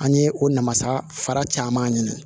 An ye o nasara fara caman ɲini